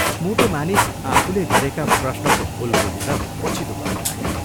मोटो मानिस आफूले गरेका प्रश्नको भूल बुझेर पछितो गर्न लाग्यो।